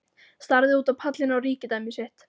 Starði út á pallinn, á ríkidæmi sitt.